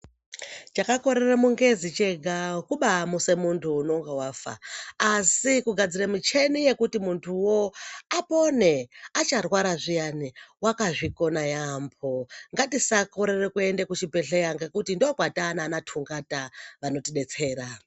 Chakakorere mungezi chega kubamuse muntu unonga vafa. Asi kugadzire mucheni yekuti muntuvo apone acharwara zviyani vakazvikona yaambo. Ngatisakorere kuende kuchibhedhleya ngekuti ndokwatona vana tungata vanotibetsera.